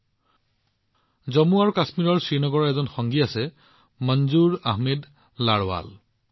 মনজুৰ আহমেদ লাৰৱাল জম্মু আৰু কাশ্মীৰৰ শ্ৰীনগৰৰ এজন বাসিন্দা